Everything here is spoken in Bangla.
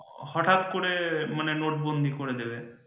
হঠাৎ করে মানে নোটবন্দি করে দেবে